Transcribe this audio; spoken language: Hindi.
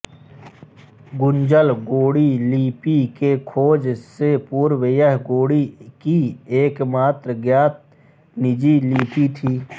गुंजल गोंडी लिपि के खोज से पूर्व यह गोंडी की एकमात्र ज्ञात निजी लिपि थी